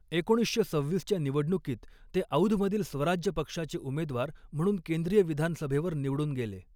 एकोणीसशे सव्हीसच्या निवडणुकीत ते औधमधील स्वराज पक्षाचे उमेदवार म्हणून केंद्रीय विधानसभेवर निवडून गेले.